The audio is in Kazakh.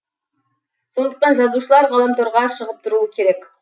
сондықтан жазушылар ғаламторға шығып тұруы керек